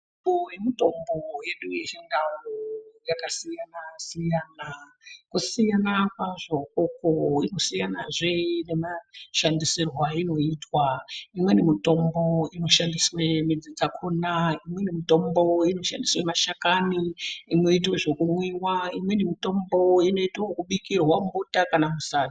Mihlobo yemitombo yedu yechindau, yakasiyana-siyana. Kusiyana kwazvo ikoko ,kusiyanazve kwemashandisirwo ainoitwa. Imweni mutombo inoshandiswe midzi dzakhona, imweni mitombo inoshandiswe mashakani inoitwe zvekumwiwa, imweni mitombo inoitwe ekubikirwe mubota kana musadza.